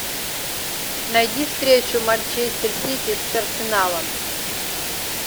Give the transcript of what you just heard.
найди встречу манчестер сити с арсеналом